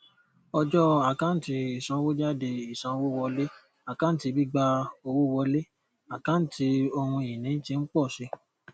ọjọ àkántì isanwójádé ìsanwówọlé àkáǹtí gbígbà owó wọlé àkáǹtí ohùn ìní tí ń pọ sí